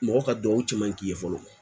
Mɔgɔ ka duwawu cɛ man ɲi k'i ye fɔlɔ